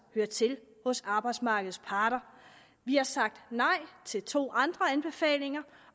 hører til hos arbejdsmarkedets parter vi har sagt nej til to andre anbefalinger